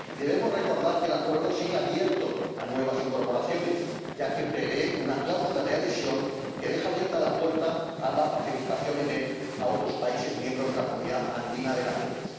Y debemos recordar que el acuerdo sigue abierto a nuevas incorporaciones, ya que prevé una cláusula de adhesión que deja abierta la puerta a la participación en él de otros países miembros de la Comunidad Andina de Naciones.